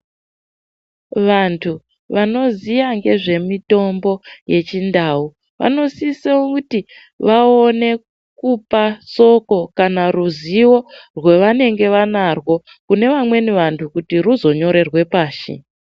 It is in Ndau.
Vantu vanoziya ngezvemutombo yechindau vanosise kuti vakone kupa soko kana ruzivo rwavanenge vanarwo kune vamweni vantu kuti ruzonyorerwe pashi.